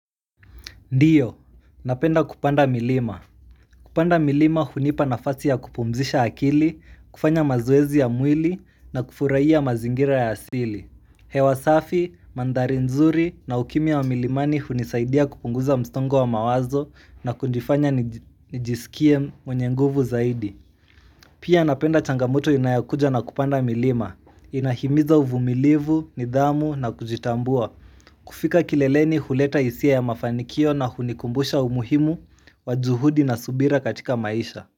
Ndiyo, napenda kupanda milima. Kupanda milima hunipa nafasi ya kupumzisha akili, kufanya mazoezi ya mwili na kufurahia mazingira ya asili. Hewa safi, mandhari nzuri na ukimya wa milimani hunisaidia kupunguza msongo wa mawazo na kunifanya nijisikie mwenye nguvu zaidi. Pia napenda changamoto inayokuja na kupanda milima. Inahimiza uvumilivu, nidhamu na kujitambua. Kufika kileleni huleta hisia ya mafanikio na hunikumbusha umuhimu wa juhudi na subira katika maisha.